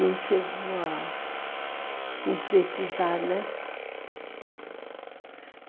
Não chegou a concretizar, né?